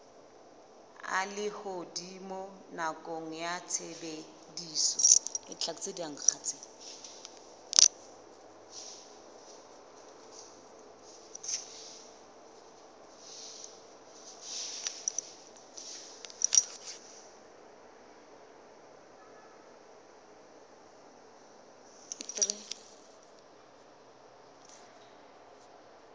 a lehodimo nakong ya tshebediso